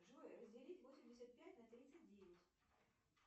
джой разделить восемьдесят пять на тридцать девять